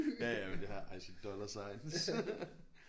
Ja ja men I see dollar signs